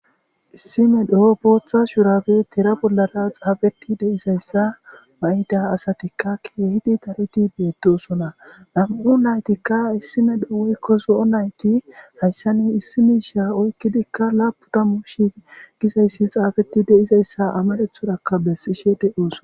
Issi medhdho booththa shurabe tira bollara xafetidayssa mayida asatikka kehi daridi beetosona. Nam'u nayttika issi medhdho woykko zo'o naytti hayssani issi misha oykidikka lappun taamu shi'i gizayssi xafetidayssa amarathorakka betishe de'osona.